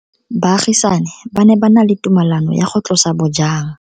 Baagisani ba ne ba na le tumalanô ya go tlosa bojang.